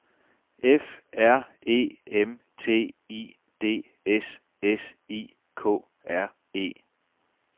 F R E M T I D S S I K R E